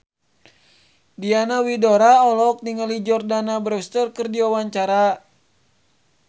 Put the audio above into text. Diana Widoera olohok ningali Jordana Brewster keur diwawancara